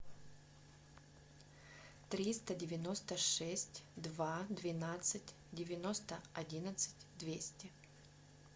триста девяносто шесть два двенадцать девяносто одиннадцать двести